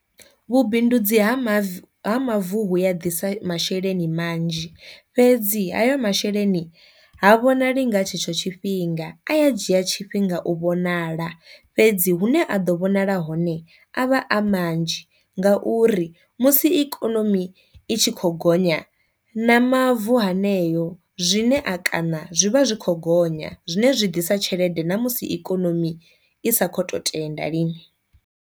Vhubindudzi ha mavu ha mavu vhuya ḓisa masheleni manzhi, fhedzi hayo masheleni ha vhonali nga tshetsho tshifhinga a ya dzhia tshifhinga u vhonala, fhedzi hu ne a ḓo vhonala hone avha a manzhi ngauri musi ikonomi i tshi kho gonya na mavu haneyo zwine a kana zwi vha zwi kho gonya, zwine zwi ḓisa tshelede ṋa musi ikonomi i sa kho to tenda lini.